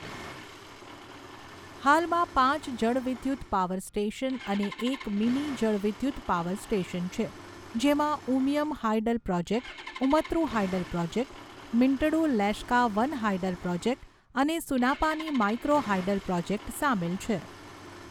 હાલમાં પાંચ જળવિદ્યુત પાવર સ્ટેશન અને એક મિની જળવિદ્યુત પાવર સ્ટેશન છે, જેમાં Umiam hydel project, Umtru hydel project, Myntdu Leshka one hydel project અને સુનાપાની માઇક્રો હાઇડલ પ્રોજેક્ટ સામેલ છે.